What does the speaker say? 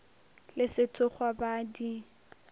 le sethokgwa ba a di